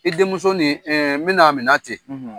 I denmuso ni Mɛnan minɛ ten;